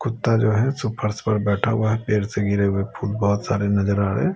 कुत्ता जो है सुपरस पर बैठा हुआ है पेड से गिरे हुए फूल बहुत सारे नजर आ रहा है।